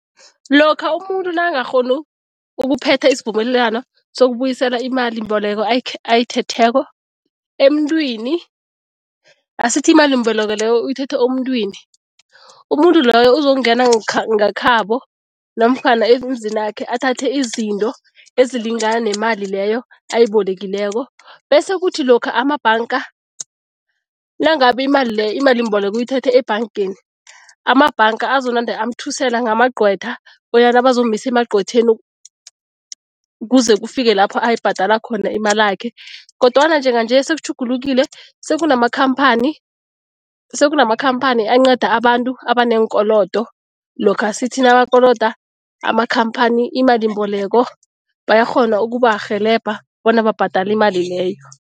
Lokha umuntu nakangakghoni ukuphetha isivumelwano sokubuyisela imalimboleko ayithetheko emuntwini, asithi imalimbeleko leyo uyithethe emuntwini, umuntu loyo uzokungena ngekhabo namkhana emzinakhe, athathe izinto ezilingana nemali leyo ayibolekileko. Bese kuthi lokha amabhanga, nangabe imali leyo imalimboleko uyithethe ebhangeni, amabhanga azonande amthusela ngamagcwetha bonyana bazomisa emagcwetheni kuze kufike lapho ayibhadala khona imalakhe. Kodwana njenganje sekutjhugulukile, sekunamakhamphani, sekunamakhamphani anqeda abantu abaneenkolodo lokha sithi nabakoloda amakhamphani imalimboleko, bayakghona ukubarhelebha bona babhadale imali leyo.